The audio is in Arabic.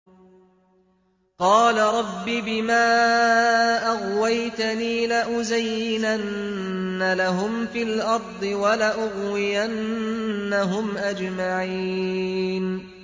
قَالَ رَبِّ بِمَا أَغْوَيْتَنِي لَأُزَيِّنَنَّ لَهُمْ فِي الْأَرْضِ وَلَأُغْوِيَنَّهُمْ أَجْمَعِينَ